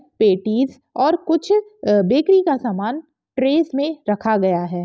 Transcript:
Patties और कुछ bakery का सामान ट्रैस मे रखा गया है।